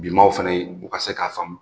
Bimaaw fana ye u ka se k'a faamu.